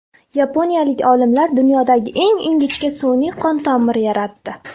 Yaponiyalik olimlar dunyodagi eng ingichka sun’iy qon tomiri yaratdi .